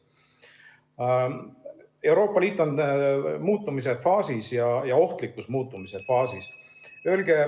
Euroopa Liit on muutumise faasis ja ohtlikus muutumise faasis.